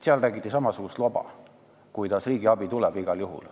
Siis räägiti samasugust loba, et riigiabi luba tuleb igal juhul.